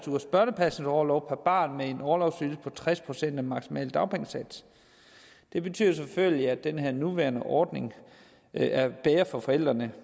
ugers børnepasningsorlov per barn med en orlovsydelse på tres procent af den maksimale dagpengesats det betyder selvfølgelig at den nuværende ordning er bedre for forældrene